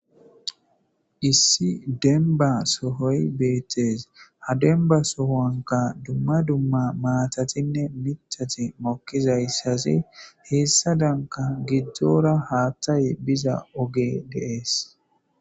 Issi enba sohoy beettes ha denba sohoanka dumma dumma maatatinne mithati mokkizayssaze heessa danka giddzora haaththay biza oge dees.